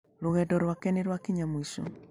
Rũgendo rwake nĩ rwakinya mũico.